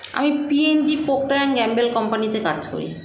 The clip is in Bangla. আমি p & g Proctor and gamble company -তে কাজ করি